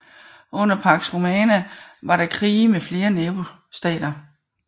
Under Pax Romana var der krige med flere nabostater